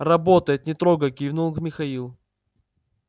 работает не трогай кивнул михаил